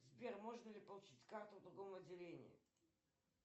сбер можно ли получить карту в другом отделении